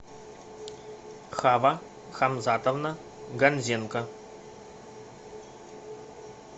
хава хамзатовна ганзенко